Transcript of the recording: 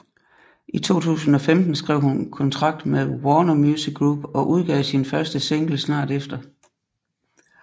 I 2015 skrev hun kontrakt med Warner Music Group og udgav sin første single snart efter